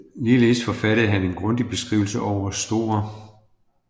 Ligeledes forfattede han en grundig Beskrivelse over St